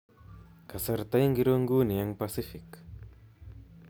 Kasarta ingiro nguni eng pasifik